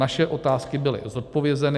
Naše otázky byly zodpovězeny.